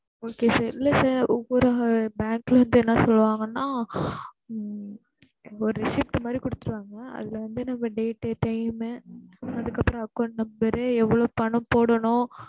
okay sir இல்ல sir ஒவ்வொரு bank ல வந்து என்ன சொல்லுவாங்கன்னா ஹம் ஒரு receipt மாதிரி குடுத்திடுவாங்க அதுல வந்து நம்ம date டு time மு அதுக்கு அப்பறம் account number ரு எவ்வளோ பணம் போடணும்,